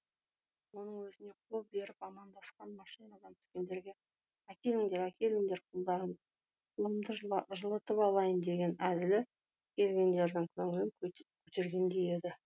оның өзіне қол беріп амандасқан машинадан түскендерге әкеліңдер әкеліңдер қолдарыңды қолымды жылытып алайын деген әзілі келгендердің көңілін көтергендей еді